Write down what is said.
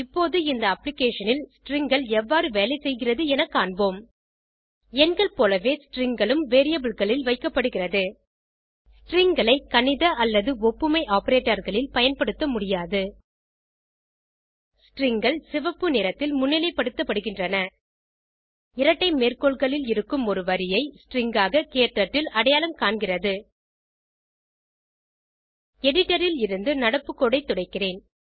இப்போது இந்த applicationல் Stringகள் எவ்வாறு வேலை செய்கிறது என காண்போம் - எண்கள் போலவே Stringகளும் variableகளில் வைக்கப்படுகிறது Stringகளை கணித அல்லது ஒப்புமை operatorகளில் பயன்படுத்த முடியாது Stringகள் சிவப்பு நிறத்தில் முன்னிலைப்படுத்தப்படுகின்றன இரட்டை மேற்கோள்களில் இருக்கும் ஒரு வரியை ஸ்ட்ரிங் ஆக க்டர்ட்டில் அடையாளம் காண்கிறது எடிட்டர் ல் இருந்து நடப்பு கோடு ஐ துடைக்கிறேன்